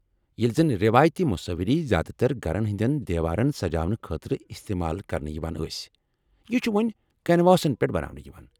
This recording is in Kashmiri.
ییلہِ زن رٮ۪وٲیتی مصوِری زیادٕ تر گھرن ہندین دیووارن سجاونہٕ خاطرٕ استعمال كرنہٕ یوان ٲسۍ ، یہِ چھِ وو٘نۍ كنواسن پیٹھ بناونہٕ یوان ۔